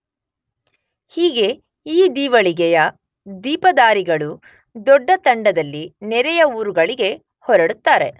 ಹೀಗೆ ಈ ದೀವಳಿಗೆಯ ದೀಪದಾರಿಗಳು ದೊಡ್ಡ ತಂಡದಲ್ಲಿ ನೆರೆಯ ಊರುಗಳಿಗೆ ಹೊರಡುತ್ತಾರೆ.